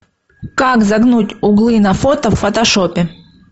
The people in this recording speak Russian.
как загнуть углы на фото в фотошопе